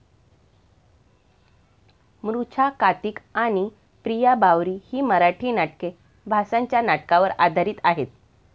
मृछाकातिक आणि पिया बावरी ही मराठी नाटके भासाच्या नाटका वर आधारित आहेत.